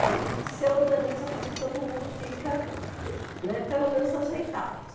Aí se organiza para que todo mundo fica, né, pelo menos ajeitado.